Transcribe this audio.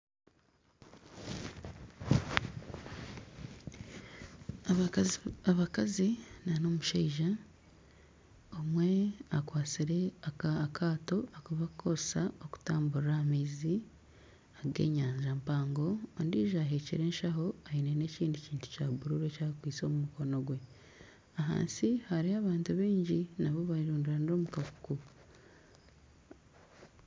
Abakazi na omushaija omwe akwatsire akaato aku barikukoresa kutamburira aha maizi ag'enyanja mpango ondijo ahekire enshaho aine n'ekindi kintu kya bururu eki akwaitse omu mukono gwe ahansi hariyo abantu baingi nabo bayerundana omu kakuku.